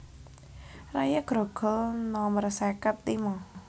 Raya Grogol nomer seket limo